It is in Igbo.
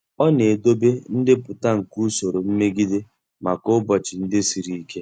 Ọ na-edobe ndepụta nke usoro mmegide maka ụbọchị ndị siri ike.